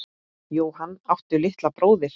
Jóhann: Áttu litla bróðir?